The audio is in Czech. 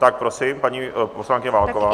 Tak prosím, paní poslankyně Válková.